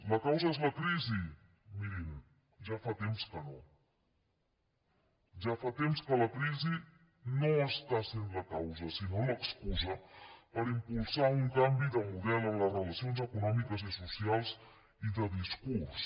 la causa és la crisi mirin ja fa temps que no ja fa temps que la crisi no està sent la causa sinó l’excusa per impulsar un canvi de model en les relacions econòmiques i socials i de discurs